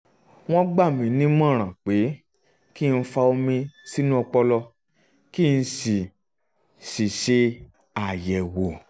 wọ́n gbà mí nímọ̀ràn pé kí n fa omi sínú ọpọlọ kí n sì sì ṣe àyẹ̀wò